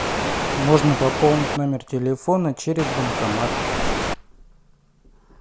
можно пополнить номер телефона через банкомат